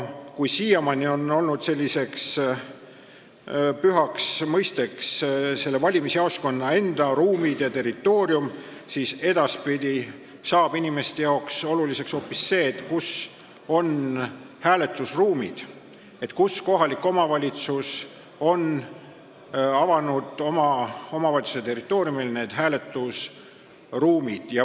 Siiamaani on selliseks pühaks mõisteks olnud valimisjaoskonna enda ruumid ja territoorium, edaspidi saab inimestele oluliseks hoopis see, kus on hääletusruumid, kus kohalik omavalitsus on need oma territooriumil avanud.